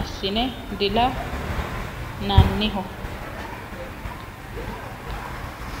assine dila nanniho.